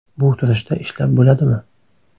Bu turishda ishlab bo‘ladimi.